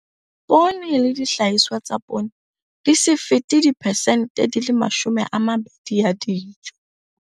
Poone le dihlahiswa tsa poone di se fete diphesente di le 20 ya dijo.